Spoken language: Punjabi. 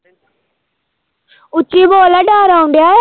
ਉੱਚੀ ਬੋਲ ਡਰ ਆਉਣਡਿਆ ਵਾ।